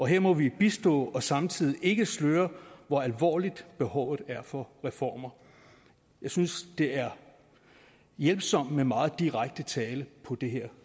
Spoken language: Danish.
her må vi bistå og samtidig ikke sløre hvor alvorligt behovet er for reformer jeg synes det er hjælpsomt med meget direkte tale på det her